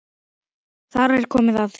Þar kom að því.